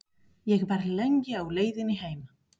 Ég var lengi á leiðinni heim.